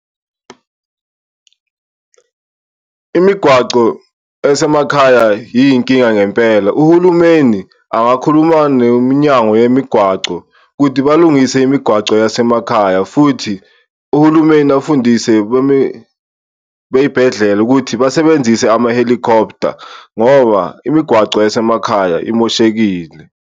Imigwaco esemakhaya iyinkinga ngempela uhulumeni angakhuluma nomnyango yemigwaco ukuthi balungise imigwaco yasemakhaya, futhi uhulumeni afundise beyibhedlela ukuthi basebenzise ama-helicopter, ngoba imigwaco yasemakhaya imoshekile.